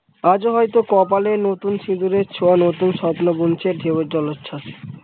আজও হয়তো কপালে নতুন সিন্দুরের ছোঁয়া নতুন সপ্ন বুনছে ঢেউ জলছল ।